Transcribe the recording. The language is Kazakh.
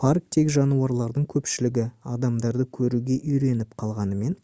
парктегі жануарлардың көпшілігі адамдарды көруге үйреніп қалғанымен